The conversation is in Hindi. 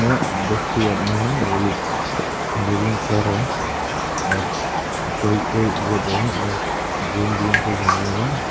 आदमी है वो लोग जॉगिंग कर रहे हैं और कोई कोई बैठे हैं और ग्रीन ग्रीन से जंगल है।